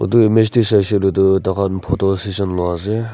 etu image tae saishe koiley toh tai khan photo session lui ase.